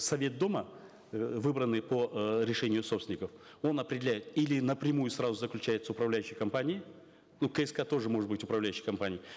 совет дома э выбранный по э решению собственников он определяет или напрямую сразу заключает с управляющей компанией ну кск тоже может быть управляющей компанией